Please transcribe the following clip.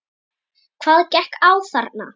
Hvað gekk á þarna?